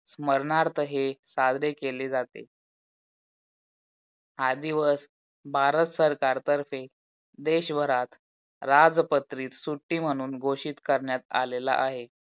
स्मरणार्थ हे साजरे केले जाते. आदी व भारत सरकारतर्फे देशभरात राजपत्रितस सुट्टी म्हणून घोषित कारन्यात आलेला आहे.